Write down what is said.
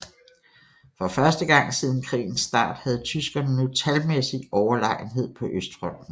For første gang siden krigens start havde tyskerne nu talmæssig overlegenhed på Østfronten